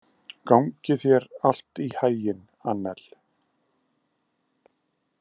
Gangi þér allt í haginn, Annel.